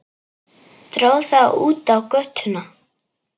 Dró það út á götuna.